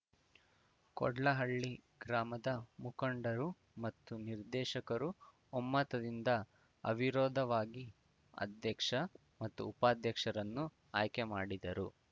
ಕೋಡ್ಲಹಳ್ಳಿ ಗ್ರಾಮದ ಮುಖಂಡರು ಮತ್ತು ನಿರ್ದೇಶಕರು ಒಮ್ಮತದಿಂದ ಅವಿರೋಧವಾಗಿ ಅಧ್ಯಕ್ಷ ಮತು ಉಪಾಧ್ಯಕ್ಷರನ್ನು ಆಯ್ಕೆ ಮಾಡಿದರು